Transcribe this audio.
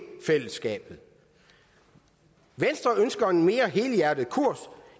fællesskabet venstre ønsker en mere helhjertet kurs